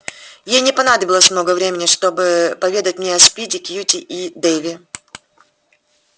ей не понадобилось много времени чтобы поведать мне о спиди кьюти и дейве